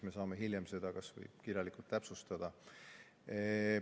Me saame hiljem seda kas või kirjalikult täpsustada.